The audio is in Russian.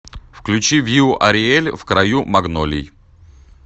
включи виу ариэль в краю магнолий